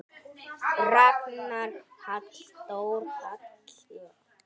Ragnar Halldór Hall.